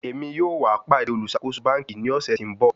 Emi yoo wa pade oluṣakoso banki ni ọsẹ ti n bọ